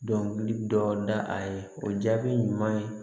Dɔnkili dɔ da a ye o jaabi ɲuman ye